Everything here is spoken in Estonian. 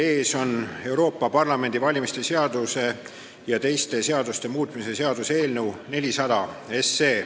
Teie ees on Euroopa Parlamendi valimise seaduse ja teiste seaduste muutmise seaduse eelnõu 400.